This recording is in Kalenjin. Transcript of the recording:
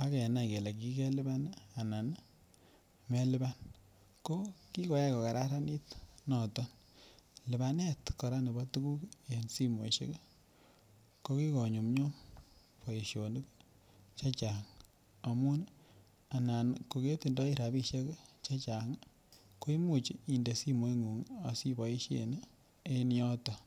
agee nai kelee kigelipan anan melipan. Ko kigoyay ko kararanit noton. Lipanet Koraa nebo tuguk en simoishek ii ko kigonyumnyum boisionik chechang amun anan kogetindoi rabishek chechang koimuch inde simoingung asi boishen en yoton